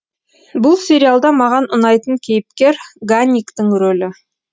бұл сериалда маған ұнайтын кейіпкер ганниктің рөлі